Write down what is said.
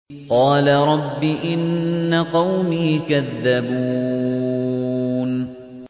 قَالَ رَبِّ إِنَّ قَوْمِي كَذَّبُونِ